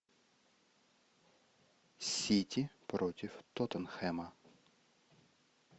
сити против тоттенхэма